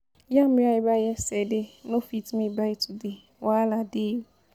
Yam wey I buy yesterday, no fit me buy today. Wahala dey!